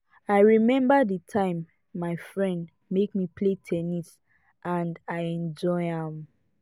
i remember the time my friend make me play ten nis and i enjoy am